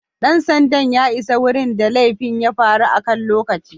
Dan sandan ya isa wurin da laifin ya faru akan lokaci.